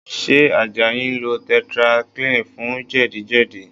Ṣé Àjàyí ń lo tetracycline fún jẹ̀díjẹ̀dí?